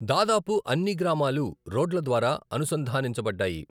దాదాపు అన్ని గ్రామాలు రోడ్ల ద్వారా అనుసంధానించబడ్డాయి.